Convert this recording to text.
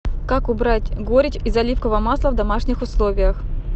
как убрать горечь из оливкового масла в домашних условиях